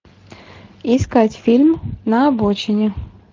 искать фильм на обочине